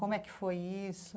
Como é que foi isso?